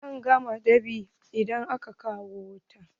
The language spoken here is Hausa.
Zan gama dab'in idan aka kawo wuta.